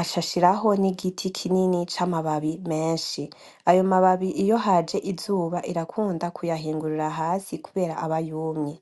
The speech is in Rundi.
aca ashiraho n'igiti kinini c'amababi meshi ayo mababi iyo haje izuba rirakunda kuyahungurura hasi kubera aba yumye.